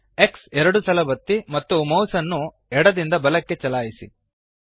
X ಎರಡು ಸಲ ಒತ್ತಿ ಮತ್ತು ಮೌಸ್ ನ್ನು ಎಡದಿಂದ ಬಲಕ್ಕೆ ಚಲಿಸಿ